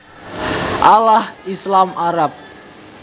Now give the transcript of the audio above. Allah Islam Arab